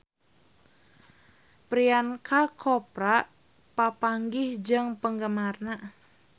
Priyanka Chopra papanggih jeung penggemarna